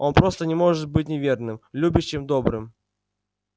он просто не может не быть верным любящим добрым